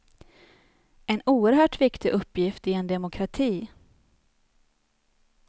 En oerhört viktig uppgift i en demokrati.